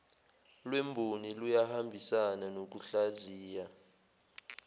lwemboni luyahambisana nokuhlaziya